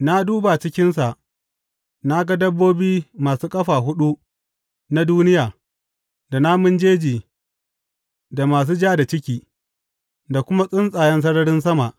Na duba cikinsa na ga dabbobi masu ƙafa huɗu na duniya, da namun jeji, da masu ja da ciki, da kuma tsuntsayen sararin sama.